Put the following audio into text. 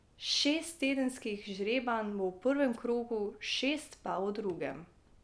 Šest tedenskih žrebanj bo v prvem krogu, šest pa v drugem.